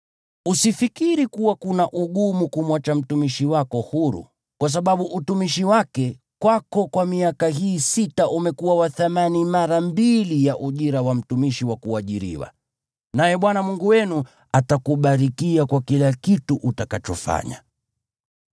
Usifikiri kuwa kuna ugumu kumwacha mtumishi wako huru, kwa sababu utumishi wake kwako kwa miaka hii sita umekuwa wa thamani mara mbili ya ujira wa mtumishi wa kuajiriwa. Naye Bwana Mungu wenu atakubarikia kwa kila kitu utakachofanya.